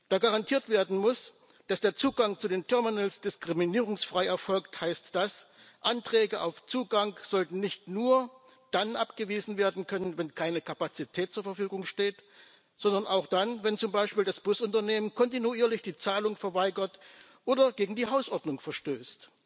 Da garantiert werden muss, dass der Zugang zu den Terminals diskriminierungsfrei erfolgt, heißt das Anträge auf Zugang sollten nicht nur dann abgewiesen werden können, wenn keine Kapazität zur Verfügung steht, sondern auch dann, wenn zum Beispiel das Busunternehmen kontinuierlich die Zahlung verweigert oder gegen die Hausordnung verstößt.